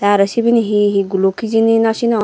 aro sibeni he he guluk hejani nosinogor.